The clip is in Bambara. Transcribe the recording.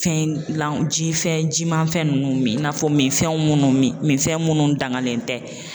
Fɛn lan jifɛn jimanfɛn ninnu min i n'a fɔ minfɛn minnu min minfɛn minnu danŋalen tɛ.